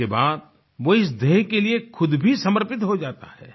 इसके बाद वो इस ध्येय के लिए खुद भी समर्पित हो जाता है